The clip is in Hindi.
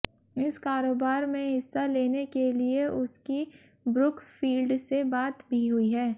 इस कारोबार में हिस्सा लेने के लिए उसकी ब्रुकफील्ड से बात भी हुई है